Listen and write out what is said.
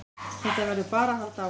Þetta verður bara að halda áfram